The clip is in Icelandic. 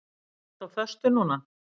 Ertu á föstu núna?